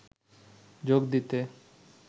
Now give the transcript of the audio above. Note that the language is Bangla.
যোগ দিতে